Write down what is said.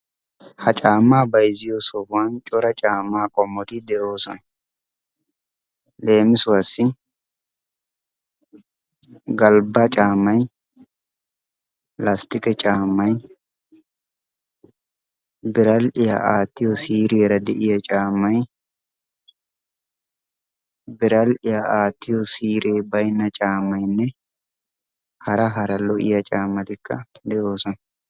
Ha caammaa bayizziyo sohuwan cora caammaa qommoti de"oosona. Leemisuwassi galbba caammay, lastiqe caamay, biral"iya aattiyo siiriyaara de"iya caammay, biral"iya aattiyo siire bayinna caammayinne hara hara lo"iya caammatikka de"oosona.